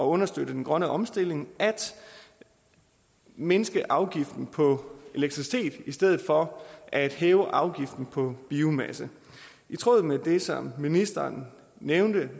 understøttet den grønne omstilling at mindske afgiften på elektricitet i stedet for at hæve afgiften på biomasse i tråd med det som ministeren nævnte